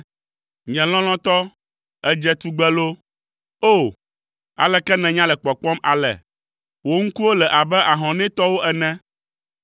Nye lɔlɔ̃tɔ, èdze tugbe loo! O, aleke nènya le kpɔkpɔm ale! Wò ŋkuwo le abe ahɔnɛtɔwo ene.